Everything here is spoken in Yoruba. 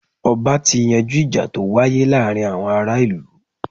Ọba ti yanjú ìjà to wáyé láàárín àwọn ará ìlú.